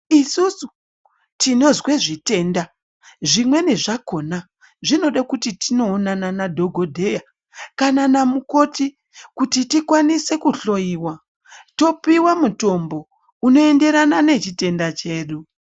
Isusu tinozwe zvitenda, zvimweni zvakona zvinode kuti tinoonana nadhokodheya kana namukoti kuti tikwanise kuhloiwa topiwa mutombo unoenderana nechitenda chedu.